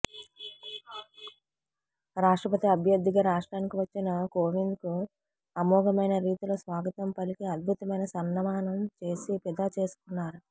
రాష్ట్రపతి అభ్యర్థిగా రాష్ట్రానికి వచ్చిన కోవింద్కు అమోఘమైన రీతిలో స్వాగతం పలికి అద్భుతమైన సన్మానం చేసి ఫిదా చేసుకున్నారు